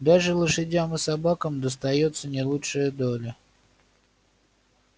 даже лошадям и собакам достаётся не лучшая доля